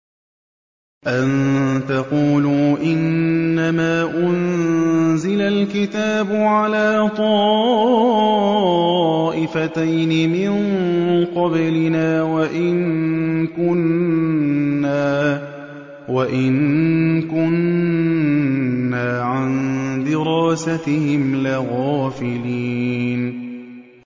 أَن تَقُولُوا إِنَّمَا أُنزِلَ الْكِتَابُ عَلَىٰ طَائِفَتَيْنِ مِن قَبْلِنَا وَإِن كُنَّا عَن دِرَاسَتِهِمْ لَغَافِلِينَ